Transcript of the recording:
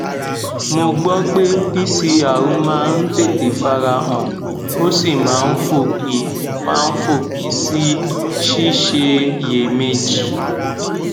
mo gbọ pé pcr máa ń tètè fara han ó sì máa ń fòpin máa ń fòpin sí síṣiyèméjì